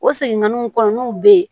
O seginganinw kɔnɔnaw be yen